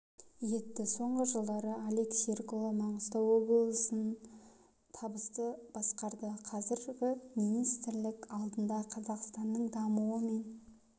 етті соңғы жылдары алик серікұлы маңғыстау облысын табысты басқарды қазір министрлік алдында қазақстанның дамуы мен